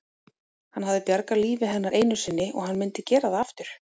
Hann hafði bjargað lífi hennar einu sinni og hann myndi gera það aftur.